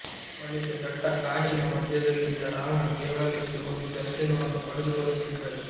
ಬಳಿಕ ದಟ್ಟ ಕಾನಿನ ಮಧ್ಯದಲ್ಲಿದ್ದ ರಾಮನ ದೇವಾಲಯಕ್ಕೆ ಹೋಗಿ ದರ್ಶನವನ್ನು ಪಡೆದು ಬರುತ್ತಿದ್ದರು